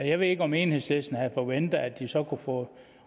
jeg ved ikke om enhedslisten havde forventet at den så kunne få